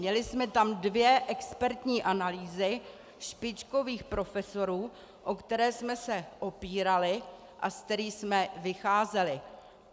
Měli jsme tam dvě expertní analýzy špičkových profesorů, o které jsme se opírali a z kterých jsme vycházeli.